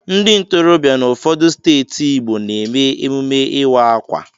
Ndị ntorobịa nọ n'ụfọdụ steeti Igbo na-eme emume ịwa ákwà.